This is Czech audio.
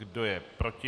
Kdo je proti?